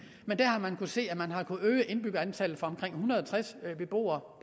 at øge indbyggerantallet fra omkring en hundrede og tres beboere